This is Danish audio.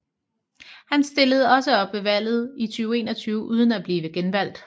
Han stillede også op ved valget i 2021 uden at blive genvalgt